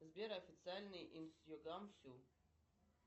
сбер официальный